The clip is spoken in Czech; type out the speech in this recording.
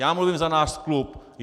Já mluvím za náš klub.